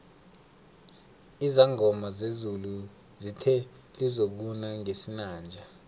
izangoma zezulu zithe lizokuna ngesinanje